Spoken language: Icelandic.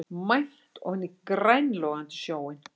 Mænt ofan í grængolandi sjóinn.